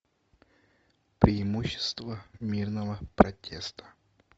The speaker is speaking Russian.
преимущества мирного протеста